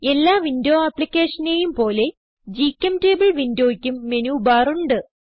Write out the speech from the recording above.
എല്ലാ വിൻഡോ ആപ്പ്ളിക്കേഷനേയും പോലെ ഗ്ചെംറ്റബിൾ വിൻഡോയ്ക്കും മെനുബാർ ഉണ്ട്